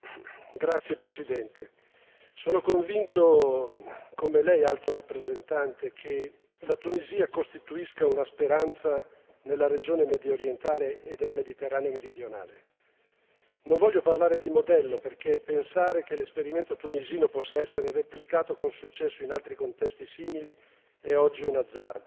Signora Presidente, onorevoli colleghi, sono convinto come lei, Alto rappresentante, che la Tunisia costituisca una speranza nella regione mediorientale e del Mediterraneo meridionale. Non voglio parlare di modello, perché pensare che l'esperimento tunisino possa essere replicato con successo in altri contesti simili è oggi un azzardo,